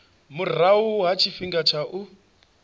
murahu ha tshifhinga tsha u